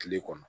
Kile kɔnɔ